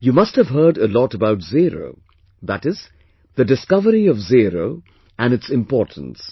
You must have heard a lot about zero, that is, the discovery of zero and its importance